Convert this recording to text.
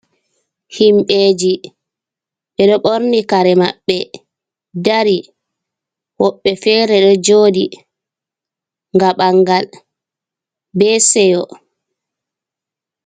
Himɓeji ɓeɗo ɓorni kare maɓɓe dari woɓɓe fere ɗo jooɗi ngam ɓangal be seyo.